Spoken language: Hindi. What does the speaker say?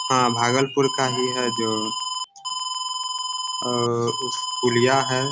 हाँ भागलपुर का ही है जो अ अ पुलिया है।